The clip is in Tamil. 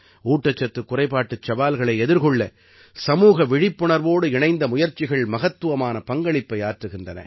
ஊட்டச்சத்துக் குறைபாட்டுச் சவால்களை எதிர்கொள்ள சமூக விழிப்புணர்வோடு இணைந்த முயற்சிகள் மகத்துவமான பங்களிப்பை ஆற்றுகின்றன